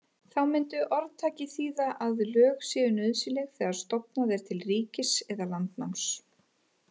Þá mundi orðtakið þýða að lög séu nauðsynleg þegar stofnað er til ríkis eða landnáms.